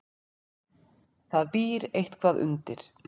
Það býr eitthvað undir.